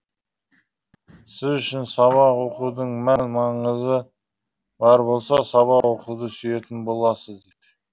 сіз үшін сабақ оқудың мән маңызы бар болса сабақ оқуды сүйетін боласыз